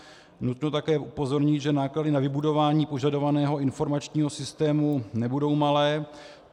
Nutno také upozornit, že náklady na vybudování požadovaného informačního systému nebudou malé.